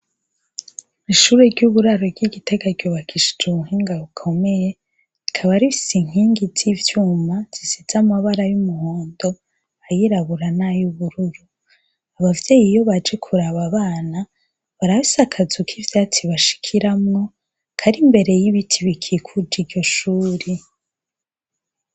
ishure ry' uburaro ryi Gitega ryubakishijw' ubuhinga bukomeye rikaba rifis'inkingi z' ivyuma zisiz' amabara y'umuhondo, ayirabura, nay' ubururu, abavy' iyo baje kurab' abana barafis' akazu k' ivyatsi bashikiramwo kar' imbere y' ibiti bikikuj' iryo shure.